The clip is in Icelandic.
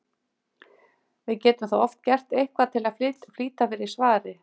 Við getum þá oft gert eitthvað til að flýta fyrir svari.